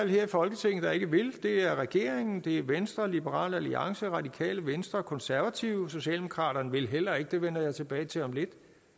her i folketinget der ikke vil det er regeringen det er venstre liberal alliance radikale venstre konservative socialdemokraterne vil heller ikke det vender jeg tilbage til om lidt